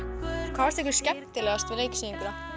hvað fannst ykkur skemmtilegast við leiksýninguna